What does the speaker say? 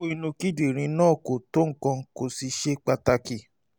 um kókó inú um kíndìnrín náà kò tó nǹkan kò sì ṣe pàtàkì um